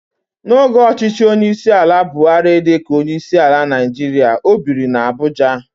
N'oge ọchịchị onyeisiala Buhari dịka onyeisiala Naịjirịa, o biri n'Abuja.